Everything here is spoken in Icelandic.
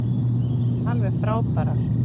Alveg frábærar.